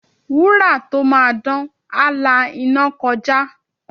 Wúrà tó máa dán, á la iná kọjá.